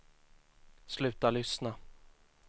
sluta lyssna